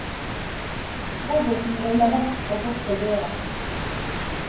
Roboten ruller vekk og bort til døren.